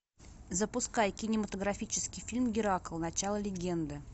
запускай кинематографический фильм геракл начало легенды